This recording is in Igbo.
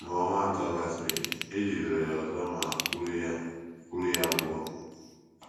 Mgbe ọnwa atọ gasịrị, e jidere ya ọzọ ma kpụrụ ya kpụrụ ya pụọ.